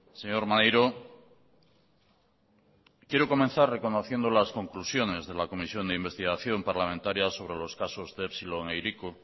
señor maneiro quiero comenzar reconociendo las conclusiones de la comisión de investigación parlamentaria sobre los casos de epsilon e hiriko